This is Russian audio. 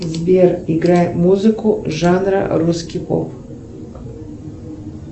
сбер играй музыку жанра русский поп